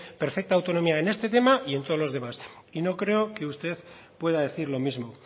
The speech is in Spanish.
perfecta autonomía en este tema y todos los demás y no creo que usted pueda decir lo mismo